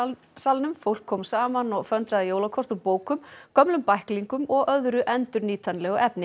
salnum fólk kom saman og föndraði jólakort úr bókum gömlum bæklingum og öðru endurnýtanlegu efni